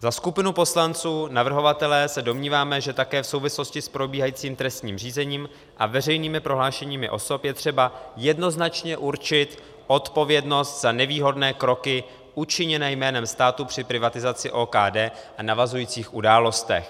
Za skupinu poslanců navrhovatelé se domníváme, že také v souvislosti s probíhajícím trestním řízením a veřejnými prohlášeními osob je třeba jednoznačně určit odpovědnost za nevýhodné kroky učiněné jménem státu při privatizaci OKD a navazujících událostech.